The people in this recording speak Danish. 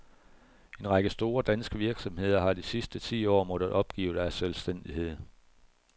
En række store, danske virksomheder har de sidste ti år måttet opgive deres selvstændighed.